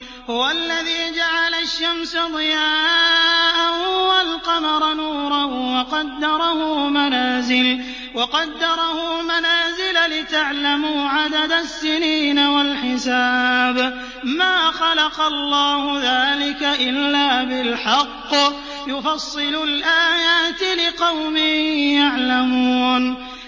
هُوَ الَّذِي جَعَلَ الشَّمْسَ ضِيَاءً وَالْقَمَرَ نُورًا وَقَدَّرَهُ مَنَازِلَ لِتَعْلَمُوا عَدَدَ السِّنِينَ وَالْحِسَابَ ۚ مَا خَلَقَ اللَّهُ ذَٰلِكَ إِلَّا بِالْحَقِّ ۚ يُفَصِّلُ الْآيَاتِ لِقَوْمٍ يَعْلَمُونَ